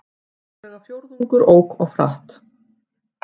Rúmlega fjórðungur ók of hratt